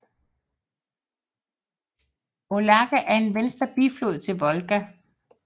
Mologa er en venstre biflod til Volga